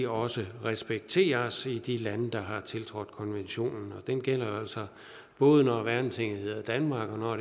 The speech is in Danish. også respekteres i de lande der har tiltrådt konventionen og den gælder altså både når værnetinget hedder danmark og når